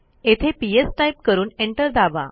तेथे PS type करून enter दाबा